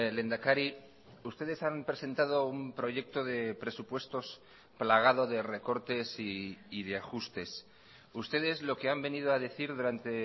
lehendakari ustedes han presentado un proyecto de presupuestos plagado de recortes y de ajustes ustedes lo que han venido a decir durante